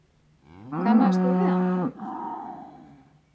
Kannaðist þú við hann?